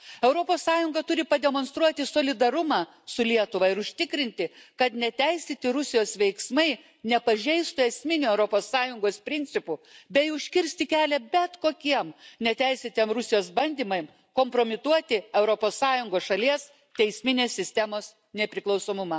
Europos Sąjunga turi pademonstruoti solidarumą su Lietuva ir užtikrinti, kad neteisėti Rusijos veiksmai nepažeistų esminių Europos Sąjungos principų bei užkirsti kelią bet kokiems neteisėtam Rusijos bandymams kompromituoti Europos Sąjungos šalies teisminės sistemos nepriklausomumą.